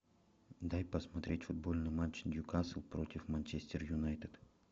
дай посмотреть футбольный матч ньюкасл против манчестер юнайтед